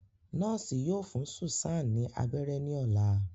Nọọsi yoo fun Susan ni abẹrẹ ni ọla